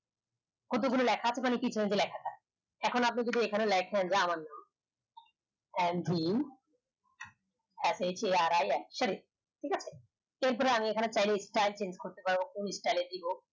কত গুলো লেখা থাকে এখন আপনি যদি এখনে লেখেন আমার নাম n v f h r i sorry ঠিক আছে এর পরে আমি এখানে style change করতে পারব কোন style দিবো